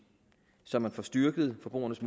så man får styrket forbrugernes